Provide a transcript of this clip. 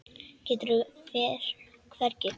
Gerður fer hvergi.